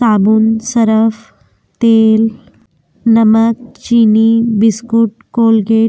साबुन सर्फ तेल नमक चीनी बिस्किट कोलगेट --